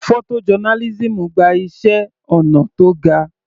Photo journalism gba iṣẹ́ ọnà tó ga.